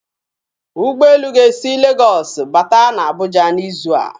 Ụgbọelu ga-esi Legọs bata na Abuja n'izu a.